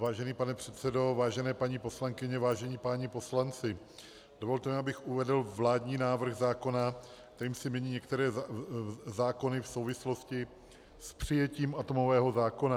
Vážený pane předsedo, vážené paní poslankyně, vážení páni poslanci, dovolte mi, abych uvedl vládní návrh zákona, kterým se mění některé zákony v souvislosti s přijetím atomového zákona.